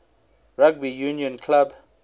rugby union club